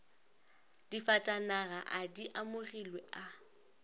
difatanaga a di amogilwe a